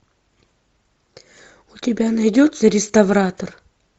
у тебя найдется реставратор